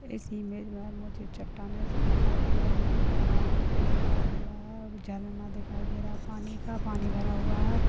इस इमेज मे मुझे चट्टानें सी दिखाई दे रही है हरा - हरा पेड़ दिखाई दे रहा है और झरना दिखाई दे रहा है पानी का पानी भरा हुआ है।